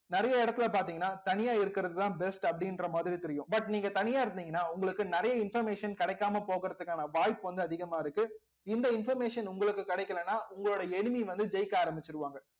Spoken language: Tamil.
நிறைய இடத்துல பாத்தீங்கன்னா தனியா இருக்கறதுதான் best அப்படின்ற மாதிரி தெரியும் but நீங்க தனியா இருந்தீங்கன்னா உங்களுக்கு நிறைய information கிடைக்காம போகறதுக்கான வாய்ப்பு வந்து அதிகமா இருக்கு இந்த information உங்களுக்கு கிடைக்கலைன்னா உங்களோட enemy வந்து ஜெயிக்க ஆரம்பிச்சிருவாங்க